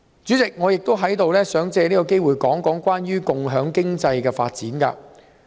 主席，我亦想藉此機會談談有關共享經濟的發展。